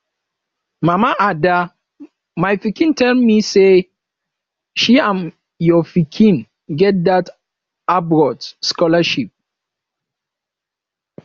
mama ada my pikin tell me say she and your pikin get dat abroad scholarship